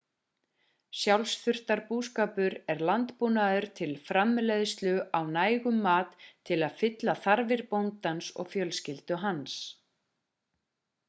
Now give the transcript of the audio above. sjálfsþurftarbúskapur er landbúnaður til framleiðslu á nægum mat til að uppfylla þarfir bóndans og fjölskyldu hans